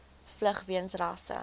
vlug weens rasse